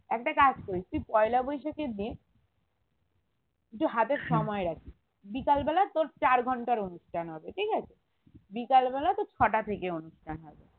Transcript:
একটা কাজ করিস তুই পয়লা বৈশাখের দিন একটু হাতে সময় রাখবি বিকালবেলা তোর চার ঘন্টার অনুষ্ঠান হবে ঠিক আছে বিকালবেলা তোর ছটা থেকে অনুষ্ঠান হবে